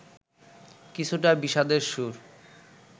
কিছুটা বিষাদের সুর